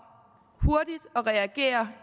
at reagere